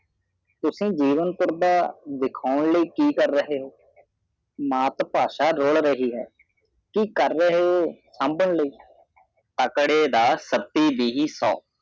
ਤੁਸਿ ਜੀਵਨ ਪਾਰ ਦਾ ਦੀਖੋਂ ਲਾਈ ਕੀ ਕਾਰ ਰਹੇ ਹੋ ਮਾਤਰ ਪਾਸ਼ਾ ਰਾਉਲ ਰਹੇ ਹੈ ਕੀ ਕਾਰ ਰਹੇ ਹੋ ਸ਼ੰਬਾਣ ਲਾਈ ਅਕਦੇ ਦਾ ਸਤੀ ਜੀਵੀ ਸੋ